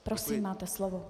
Prosím, máte slovo.